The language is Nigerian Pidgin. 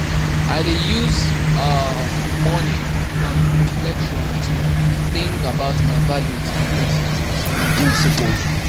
I dey use um morning um reflection to think about my values and principles. and principles.